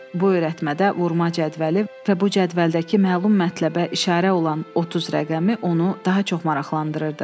Bu öyrətmədə vurma cədvəli və bu cədvəldəki məlum mətləbə işarə olan 30 rəqəmi onu daha çox maraqlandırırdı.